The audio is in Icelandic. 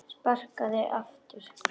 Sparkað aftur.